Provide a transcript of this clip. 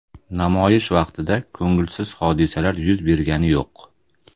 Namoyish vaqtida ko‘ngilsiz hodisalar yuz bergani yo‘q.